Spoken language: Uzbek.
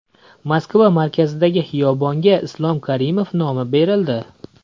Moskva markazidagi xiyobonga Islom Karimov nomi berildi .